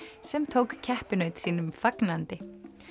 sem tók keppinaut sínum fagnandi